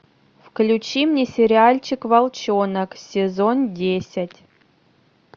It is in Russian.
включи мне сериальчик волчонок сезон десять